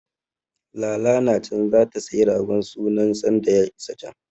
Lala na can zata sayi ragon sunan sanda ya isa can.